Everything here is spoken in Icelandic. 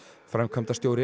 framkvæmdastjóri